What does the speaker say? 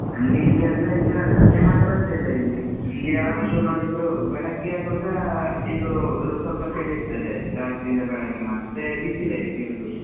ನಂಗೆ ಇಲ್ಲೀ ಅಂದ್ರೆ ಈಗ ಸದ್ಯ ಮಳೆ ಬರ್ಲಿಲ್ಲ ಇಲ್ಲಿ, ಇಲ್ಲಿ ಯಾವಾಗ್ಲೂ ನೋಡಿದ್ರು ಬೆಳಗ್ಗೆ ಆಗ್ವಾಗ ಆ ಇದೂ ಸ್ವಲ್ಪ ಚಳಿ ಇರ್ತದೆ, ರಾತ್ರಿ ಇಂದ ಬೆಳಿಗ್ಗೆ, ಮತ್ತೆ ಬಿಸೆಲೇ ಇರುದು.